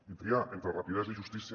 i triar entre rapidesa i justícia